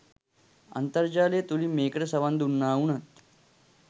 අන්තර්ජාලය තුළින් මේකට සවන් දුන්නා වුණත්